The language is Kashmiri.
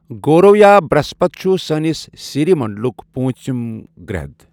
گورو یا برٛہسپت چھُ سٲنِس سيٖری منٛڈُلُک پوٗنٛژم گرٛہد.